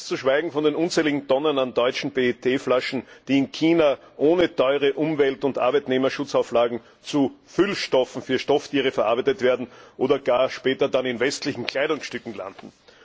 Ganz zu schweigen von den unzähligen Tonnen an deutschen PET Flaschen, die in China, ohne teure Umwelt und Arbeitnehmerschutzauflagen, zu Füllstoffen für Stofftiere verarbeitet werden oder gar später in westlichen Kleidungsstücken landen.